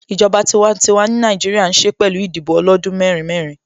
Ìjọba tiwantiwa ni Nàìjíríà ń ṣe pẹ̀lú Ìdìbò ọlọ́dún mẹ́rin mẹ́rin